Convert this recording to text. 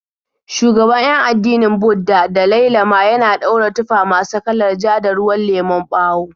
Shugaban 'yan addinin Budda, Dalai Lama, yana daura tufa masu kalar ja da ruwan lemon bawo.